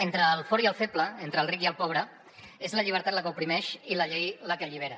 entre el fort i el feble entre el ric i el pobre és la llibertat la que oprimeix i la llei la que allibera